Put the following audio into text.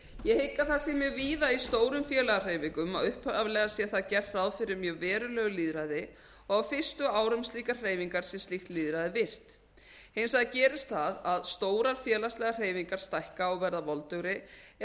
ég hygg að það sé mjög víða í stórum félagahreyfingum að upphaflega sé þar gert ráð fyrir mjög verulegu lýðræði og á fyrstu árum slíkrar hreyfingar sé slíkt lýðræði virkt hins vegar gerist það að stórar félagslegar hreyfingar stækka og verða voldugri er